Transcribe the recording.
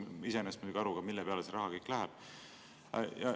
Ma ei saa iseenesest muidugi aru, mille peale see raha kõik läheb.